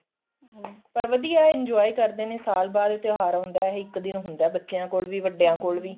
ਹਮ ਪਰ ਵਧੀਆਂ enjoy ਕਰਦੇ ਨੇ ਸਾਲ ਬਾਅਦ ਤਿਉਹਾਰ ਆਉਂਦਾ ਇਹ ਇੱਕ ਦਿਨ ਹੁੰਦਾ ਬੱਚਿਆਂ ਕੋਲ ਵੀ ਵੱਡਿਆਂ ਕੋਲ ਵੀ